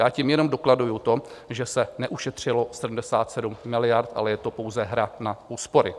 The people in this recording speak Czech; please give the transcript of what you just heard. Já tím jenom dokladuji to, že se neušetřilo 77 miliard, ale je to pouze hra na úspory.